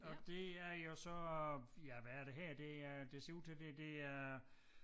Og det er jo så ja hvad er det her det er det ser ud til det det er